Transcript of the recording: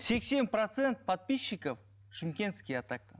сексен процент подписчиков шымкентский а так то